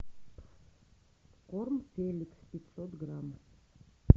корм феликс пятьсот грамм